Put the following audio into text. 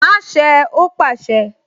Má ṣé ẹ! Ó pàṣẹ